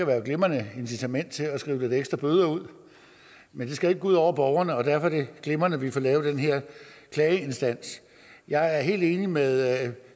være et glimrende incitament til at skrive lidt ekstra bøder ud men det skal jo ud over borgerne og derfor er det glimrende at vi får lavet den her klageinstans jeg er helt enig med